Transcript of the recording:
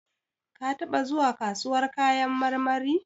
Ka taɓa zuwa kasuwar kayan marmari?